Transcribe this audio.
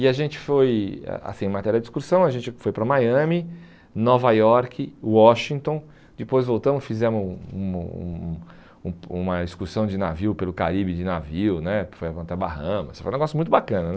E a gente foi, ah ah assim em matéria de excursão, a gente foi para Miami, Nova Iorque, Washington, depois voltamos, fizemos um um um um uma excursão de navio pelo Caribe de navio né, foi até Bahamas, foi um negócio muito bacana.